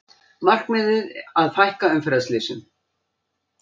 Markmiðið að fækka umferðarslysum